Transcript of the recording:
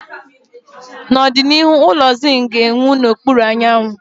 N'ọdịnihu, ụlọ zinc ga-enwu n'okpuru anyanwụ